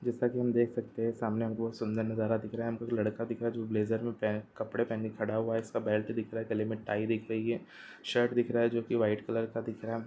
जैसा कि हम देख सकते हैं सामने बहोत सुंदर नजारा दिख रहा है हमको एक लड़का दिख रहा है जो ब्लेजर में पे कपड़े पहने खड़ा हुआ है इसका बेल्ट दिख रहा है गले में टाई दिख रही है शर्ट दिख रहा है जो की व्हाइट कलर का दिख रहा है।